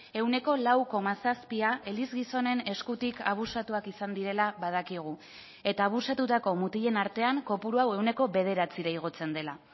ehuneko lau koma zazpia eliz gizonen eskutik abusatuak izan direla badakigu eta abusatutako mutilen artean kopuru hau ehuneko bederatzira igotzen dela